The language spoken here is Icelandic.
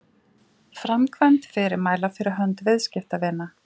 Framkvæmd fyrirmæla fyrir hönd viðskiptavina.